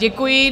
Děkuji.